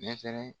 Ɲɛ fɛnɛ